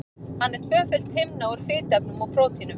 Hann er tvöföld himna úr fituefnum og prótínum.